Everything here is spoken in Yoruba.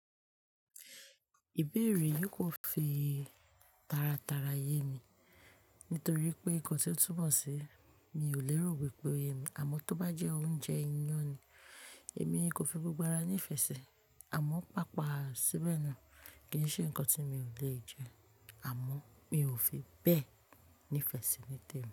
Ìbéèrè yìí kò fi tara tara ye mi, nítorí pé nǹkan tí ó túmọ̀ sí mi ò lérò wípé o ye mi, àmọ́ tó bá jẹ́ oúnjẹ ìnyàn ni èmi lò fi gbogbo ara ní ìfẹ́ ṣe, àmọ́ pápà síbẹ̀ náà kì í ṣe ǹnkan tí mi ò lè jẹ, àmọ́ mi ò fi bẹ́ẹ̀ ní ìfẹ́ sí ní tèmi.